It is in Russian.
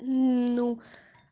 ну